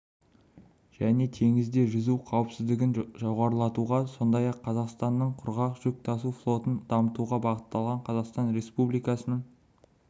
және теңізде жүзу қауіпсіздігін жоғарылатуға сондай-ақ қазақстандық құрғақ жүк тасу флотын дамытуға бағытталған қазақстан республикасының